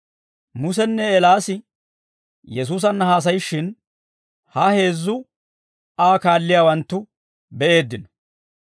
Musenne Eelaas Yesuusanna haasayishshin, ha heezzu Aa kaalliyaawanttu be'eeddino.